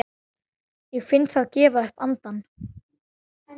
Ég finn það gefa upp andann.